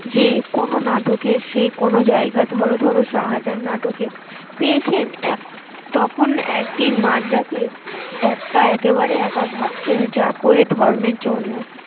যে কোন নাটকে সে কোন জায়গায় ধরো ধরো শাহজাহান নাটকে পেয়েছেন এক তখন একদিন মাঝরাতে এক্কা একেবারে একা ভাবছেন যা করে ধর্মের জন্য।